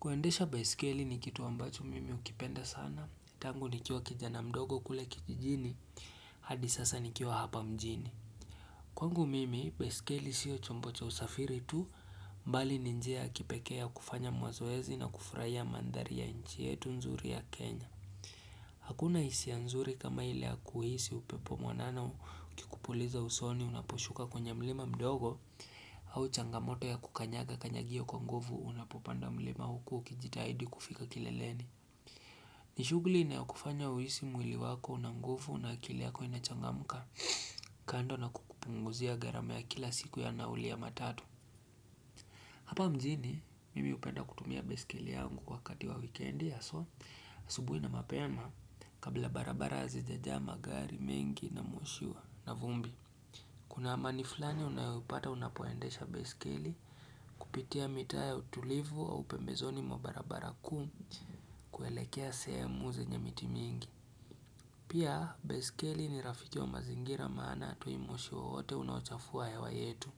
Kuendesha beskeli ni kitu ambacho mimi ukipenda sana. Tangu nikio kijana mdogo kule kijijini hadi sasa nikiwa hapa mjini. Kwangu mimi beskeli sio chombo cha usafiri tu mbali ni njia ya kipekea ya kufanya mazoezi na kufurahia mandhari ya nchi yetu nzuri ya Kenya. Hakuna hisia nzuri kama ili ya kuhisi upepo mwanana ukikupuliza usoni unaposhuka kwenye mlima mdogo au changamoto ya kukanyaga kanyagio kwa nguvu unapopanda mlima huku kijitahidi kufika kileleni. Nishuguli ina kufanya huisi mwili wako unanguvu na akili yako inachangamka kando na kukupunguzia garamu ya kila siku ya naulia matatu. Hapa mjini, mimi upenda kutumia beskeli yangu kwa kati wa weekendi aswa subuhi na mapema kabla barabara hazijaa magari mengi na mwoshua. Na vumbi, kuna amani flani unayopata unapoendesha beiskeli kupitia mitaa ya utulivu au pembezoni mwa barabara kuu kuelekea sehemu zenye miti mingi. Pia, beskeli ni rafiki wa mazingira maana hatoi moshi wowote unachafua hewa yetu.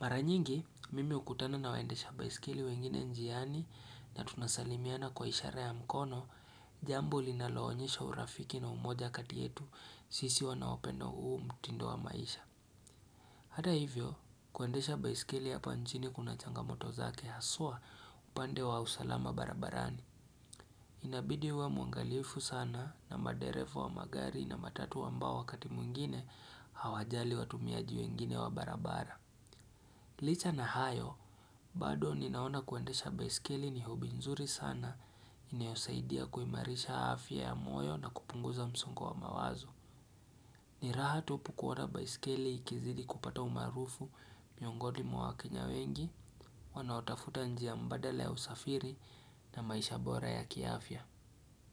Mara nyingi, mimi ukutana na waendesha baiskili wengine njiani na tunasalimiana kwa ishara ya mkono, jambo linaloonyesha urafiki na umoja kati yetu sisi wanawapenda uu mtindo wa maisha. Hata hivyo, kuendesha baiskili hapa nchini kuna changamoto zake haswa upande wa usalama barabarani. Inabidi uwe mwangalifu sana na maderefu wa magari na matatu ambao wakati mwingine hawajali watumiaji wengine wa barabara. Licha na hayo, bado ninaona kuendesha baiskeli ni hobby nzuri sana inaozaidia kuimarisha afya ya moyo na kupunguza msuko wa mawazo. Niraha tupu kuona baiskeli ikizidi kupata umarufu, miogoni mwakenya wengi, wanaotafuta njia mbadala ya usafiri na maisha bora ya kiafya.